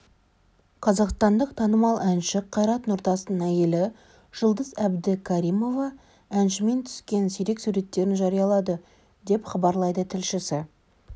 қазақстандық танымал әнші қайрат нұртастың әйелі жұлдыз әбдікәрімова әншімен түскен сирек суреттерін жариялады деп хабарлайды тілшісі